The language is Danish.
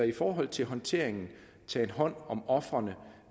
i forhold til håndteringen tagen hånd om ofrene